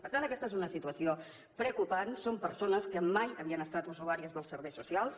per tant aquesta és una situació preocupant són persones que mai havien estat usuàries dels serveis socials